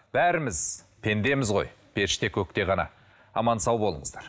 бәріміз пендеміз ғой періште көкте ғана аман сау болыңыздар